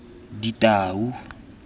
ditau